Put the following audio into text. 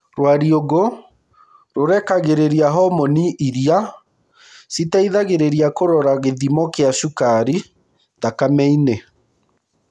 Rwariũngũ rũrekagĩrĩria homoni iria cĩteithagĩrĩria kũrora gĩthimo kĩa cukari thakame-inĩ.